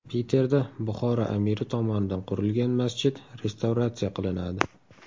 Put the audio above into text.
Piterda Buxoro amiri tomonidan qurilgan masjid restavratsiya qilinadi.